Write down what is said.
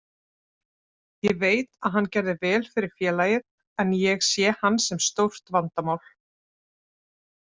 Ég veit að hann gerði vel fyrir félagið, en ég sé hann sem stórt vandamál.